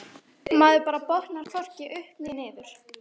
Maður bara botnar hvorki upp né niður.